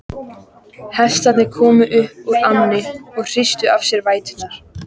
Hestarnir komu upp úr ánni og hristu af sér vætuna.